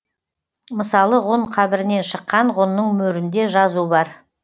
мысалы ғұн қабірінен шыққан ғұнның мөрінде жазу бар